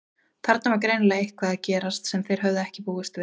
Þarna var greinilega eitthvað að gerast sem þeir höfðu ekki búist við.